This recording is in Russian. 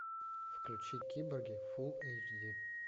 включи киборги фулл эйч ди